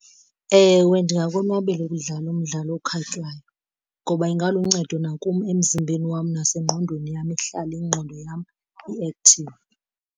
Ewe, ndingakonwabela ukudlala umdlalo okhatywayo ngoba ingaluncedo nakum emzimbeni wam nasengqondweni yam, ihlale ingqondo yam i-active.